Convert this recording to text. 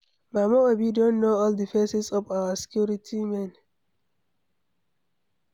Mama Obi don know all the faces of our security men.